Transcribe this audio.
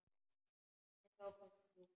En þá komst þú.